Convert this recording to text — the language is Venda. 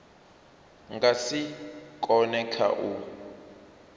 nga si kone kha u